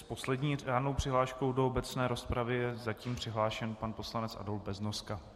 S poslední řádnou přihláškou do obecné rozpravy je zatím přihlášen pan poslanec Adolf Beznoska.